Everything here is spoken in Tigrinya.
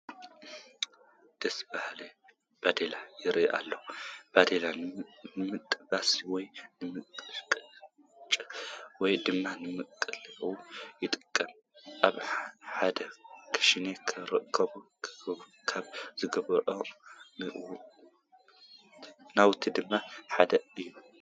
ደስ በሃሊ ባዴላ ይርአ ኣሎ፡፡ ባዴላ ንመጥበሲ ወይ ንመቐጭቀጪ ወይ ድማ ንመቕለዊ ይጠቅም፡፡ ኣብ እንዳ ኽሽነ ክርከቡ ካብ ዝግብኦም ንዋት ድማ ሓደ እዩ፡፡